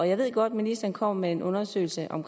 jeg ved godt at ministeren kommer med en undersøgelse om